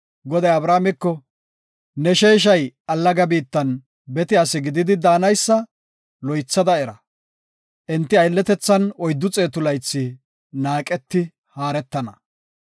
Goday Abrameko, “Ne sheeshay allaga biittan bete asi gididi daanaysa loythada era; enti aylletethan oyddu xeetu laythi naaqeti haaretana.